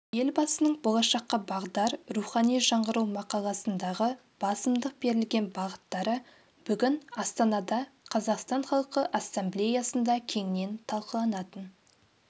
елбасының болашаққа бағдар рухани жаңғыру мақаласындағы басымдық берілген бағыттары бүгін астанада қазақстан халқы ассамблеясында кеңінен талқыланатын